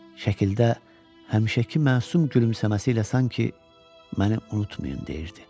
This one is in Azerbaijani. Şəkildə həmişəki məsum gülümsəməsi ilə sanki məni unutmayın deyirdi.